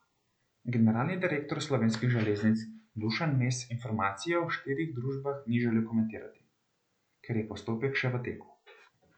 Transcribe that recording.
Generalni direktor Slovenskih železnic Dušan Mes informacije o štirih družbah ni želel komentirati, ker je postopek še v teku.